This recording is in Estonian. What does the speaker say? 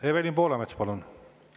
Evelin Poolamets, palun!